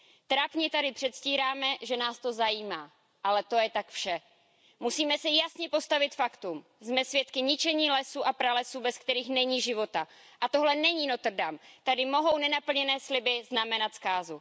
Trapně tady předstíráme, že nás to zajímá, ale to je tak vše. Musíme se jasně postavit faktům jsme svědky ničení lesů a pralesů, bez kterých není života. A tohle není Notre Dame, tady mohou nenaplněné sliby znamenat zkázu.